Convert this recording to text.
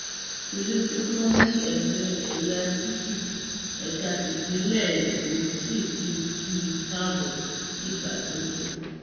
tìlù tìfọn ni ẹgbẹ ẹyà tífì ẹka tipinlẹ èkó sì fi kí i káàbọ nígbà tó dé